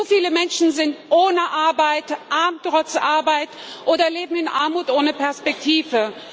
Zu viele Menschen sind ohne Arbeit, arm trotz Arbeit oder leben in Armut ohne Perspektive.